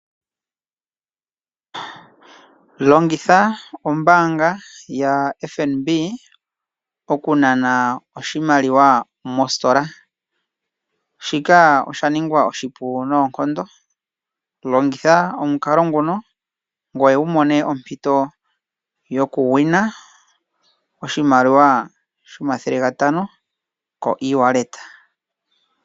Longitha ombaanga yaFNB okunana oshimaliwa mositola, shika oshaningwa oshipu noonkondo. Longitha omukalo nguno ngoye wu mone ompito yokusindana oshimaliwa shomathele gatano kongodhi.